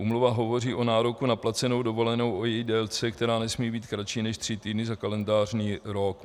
Úmluva hovoří o nároku na placenou dovolenou, o její délce, která nesmí být kratší než 3 týdny za kalendářní rok.